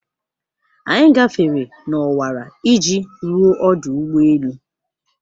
Anyị gafere n'ọwara iji ruo ọdụ ụgbọ elu.